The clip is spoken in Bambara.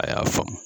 A y'a faamu